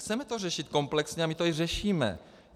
Chceme to řešit komplexně a my to i řešíme.